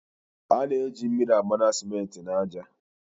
A na-eji mmiri agbaṅa simenti na aja.